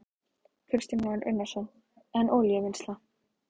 Kristján Már Unnarsson: En olíuvinnsla?